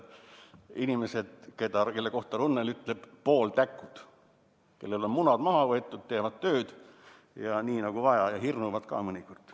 Inimesed, kelle kohta Runnel ütleb "pooltäkud", kellel on munad maha võetud, teevad tööd nii nagu vaja ja hirnuvad ka mõnikord.